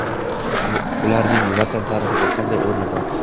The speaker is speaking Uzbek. Ularning Vatan tarixida qanday o‘rni bor?.